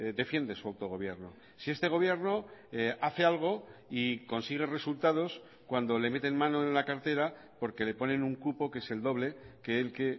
defiende su autogobierno si este gobierno hace algo y consigue resultados cuando le meten mano en la cartera porque le ponen un cupo que es el doble que el que